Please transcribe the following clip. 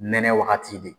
Nɛnɛ wagati de